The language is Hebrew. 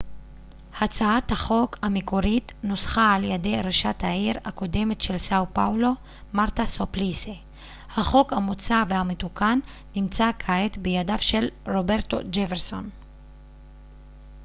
הצעת החוק המקורית נוסחה על ידי ראשת העיר הקודמת של סאו פאולו מרתה סופליסי החוק המוצע והמתוקן נמצא כעת בידיו של רוברטו ג'פרסון